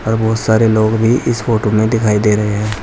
और बहुत सारे लोग भी इस फोटो में दिखाई दे रहे हैं।